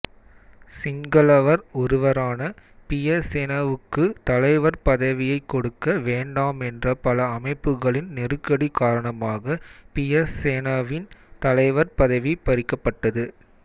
சிங்களவர் ஒருவரான பியசேனவுக்கு தலைவர் பதவியைக் கொடுக்க வேண்டாமென்ற பல அமைப்புகளின் நெருக்கடி காரணமாக பியசேனவின் தலைவர் பதவி பறிக்கப்பட்டது